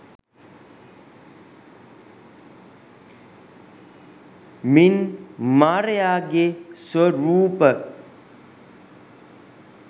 මින් මාරයාගේ ස්වරූප